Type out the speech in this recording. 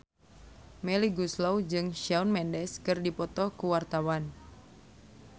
Melly Goeslaw jeung Shawn Mendes keur dipoto ku wartawan